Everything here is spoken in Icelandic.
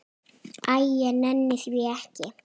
Æ, ég nenni því ekki.